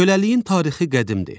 Köləliyin tarixi qədimdir.